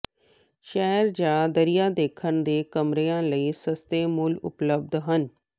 ਸ਼ਹਿਰ ਜਾਂ ਦਰਿਆ ਦੇਖਣ ਦੇ ਕਮਰਿਆਂ ਲਈ ਸਸਤੇ ਮੁੱਲ ਉਪਲਬਧ ਹਨ